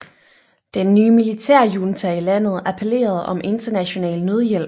Den nye militærjunta i landet appellerede om international nødhjælp